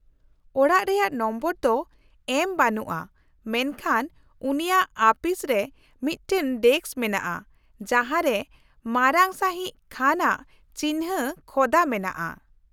-ᱚᱲᱟᱜ ᱨᱮᱭᱟᱜ ᱱᱚᱢᱵᱚᱨ ᱫᱚ ᱮᱢ ᱵᱟᱹᱱᱩᱜᱼᱟ ᱢᱮᱱᱠᱷᱟᱱ ᱩᱱᱤᱭᱟᱜ ᱟᱹᱯᱤᱥᱨᱮ ᱢᱤᱫᱴᱟᱝ ᱰᱮᱥᱠ ᱢᱮᱱᱟᱜᱼᱟ ᱡᱟᱦᱟᱸ ᱨᱮ ᱢᱟᱨᱟᱝ ᱥᱟᱹᱦᱤᱡ ᱠᱷᱟᱱ ᱟᱜ ᱪᱤᱱᱦᱟᱹ ᱠᱷᱚᱫᱟ ᱢᱮᱱᱟᱜᱼᱟ ᱾